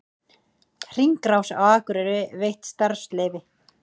Hringrás á Akureyri veitt starfsleyfi